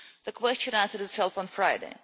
The question answered itself on Friday.